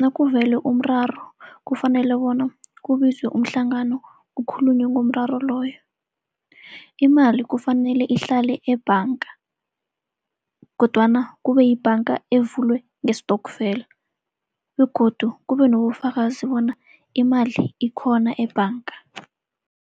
nakuvele umraro kufanele bona kubizwe umhlangano kukhulunywe ngomraro loyo. Imali kufanele ihlale ebhanga kodwana kube yibhanga evulwe ngestokfela, begodu kube nobufakazi bona imali ikhona ebhanga.